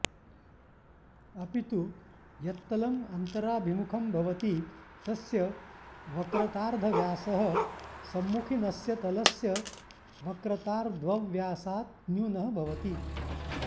अपितु यत्तलं अन्तराभिमुखं भवति तस्य वक्रतार्द्धव्यासः सम्मुखीनस्य तलस्य वक्रतार्द्वव्यासात् न्यूनः भवति